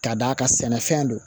Ka d'a kan sɛnɛfɛn don